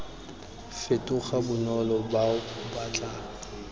fetoga bonolo bao ba tla